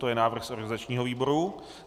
To je návrh z organizačního výboru.